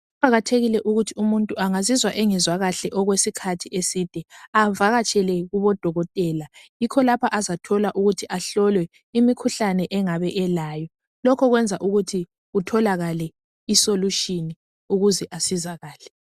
Kuqakathekile ukuthi umuntu angazizwa engezwa kuhle okwesikhathi eside avakatshele kubodokotela. Yikho lapho azathola ukuthi ahlolwe imikhuhlane angabe elayo . Lokho kwenza ukuthi kutholakale isolutshini ukuze asizakale.